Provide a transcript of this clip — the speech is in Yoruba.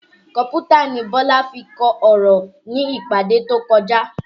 Kọ̀mpútà ni Bọlá fi kọ ọ̀rọ̀ ní ìpàdé tí ó kọjá